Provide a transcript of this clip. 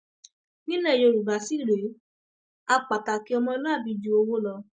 nílẹ yorùbá sì rèé á pàtàkì ọmọlúàbí ju owó lọ